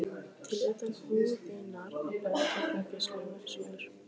til utan húðunar á bönd og glugga súlur.